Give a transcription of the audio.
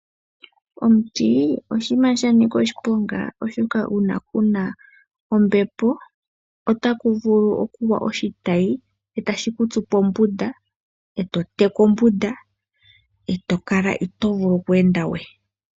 Omuti oshinima sha nika oshiponga oshoka una kuna ombepo otaku vulu oku gwa oshitayi etashi kutsu pombunda eto teka ombunda. Eto kala ito vulu oku enda we.